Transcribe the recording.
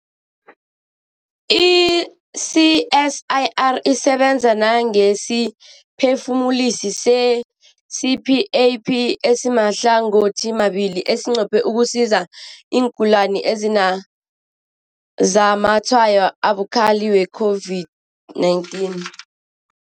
I-CSIR isebenza nangesiphefumulisi se-CPAP esimahlangothimabili esinqophe ukusiza iingulani ezinazamatshwayo abukhali we-COVID-19.